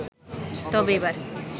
তবে এবার